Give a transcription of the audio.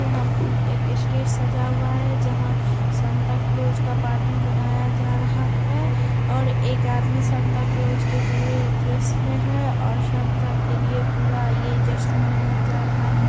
यहां एक स्टेज सजा हुआ है जहां सेंटा क्लोज का पार्टी मनाया जा रहा है और एक आदमी सेंटा क्लोज के पूरे ड्रेस में है और सेंटा के लिए पूरा ये जश्न मनाया जा रहा है।